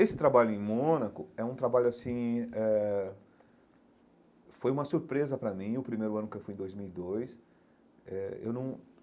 Esse trabalho em Mônaco é um trabalho assim eh foi uma surpresa para mim, no primeiro ano que fui, em dois mil e dois eh eu não.